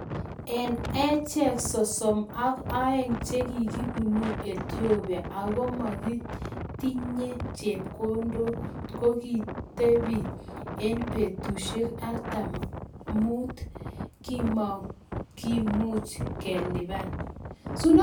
Eng acheek sosom ak aeng chekikibunuu attopia Ako kimegeetinge chepkondok ko kikitepii eng petusiek artam amuu kimakimuuch kelipan